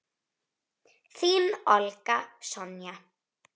Þín, Olga Sonja.